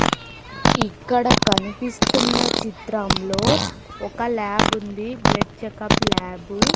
ఇక్కడ కనిపిస్తున్న చిత్రంలో ఒక ల్యాబుంది బ్లడ్ చెకప్ ల్యాబు .